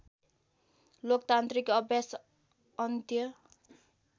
लोकतान्त्रिक अभ्यास अन्त्य